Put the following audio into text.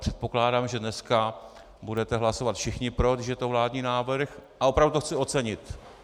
Předpokládám, že dneska budete hlasovat všichni pro, když je to vládní návrh, a opravdu to chci ocenit.